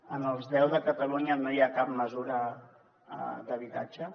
en els deu de catalunya no hi ha cap mesura d’habitatge